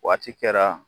Waati kɛra